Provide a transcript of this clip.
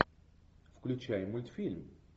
включай мультфильм